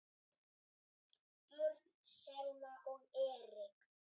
Börn: Selma og Erik.